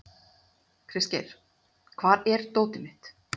Kristgeir, hvar er dótið mitt?